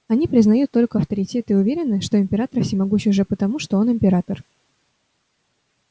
они признают только авторитеты и уверены что император всемогущ уже потому что он император